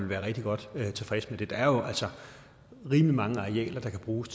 være rigtig godt tilfreds med det der er jo altså rimelig mange arealer der kan bruges